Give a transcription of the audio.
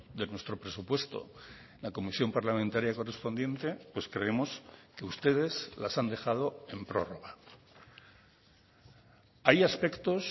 de nuestro presupuesto la comisión parlamentaria correspondiente pues creemos que ustedes las han dejado en prórroga hay aspectos